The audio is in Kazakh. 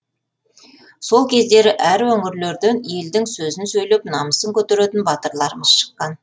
сол кездері әр өңірлерден елдің сөзін сөйлеп намысын көтеретін батырларымыз шыққан